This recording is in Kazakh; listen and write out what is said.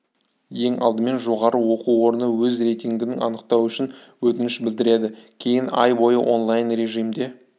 ең алдымен жоғары оқу орны өз рейтінгін анықтау үшін өтініш білдіреді кейін ай бойы онлайн режимде